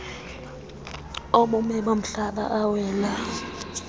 obume bomhlaba awela